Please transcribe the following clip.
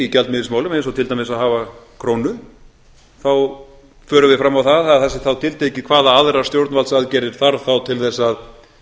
gjaldmiðilsmálum eins og til dæmis að hafa krónu þá förum við fram á það að það sé þá tiltekið hvaða aðrar stjórnvaldsaðgerðir þarf þá til þess að